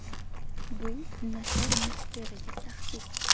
Bu nashr muxbiriga tahdid.